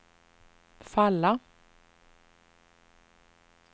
falla